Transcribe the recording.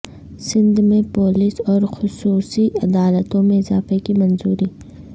سندھ میں پولیس اور خصوصی عدالتوں میں اضافے کی منظوری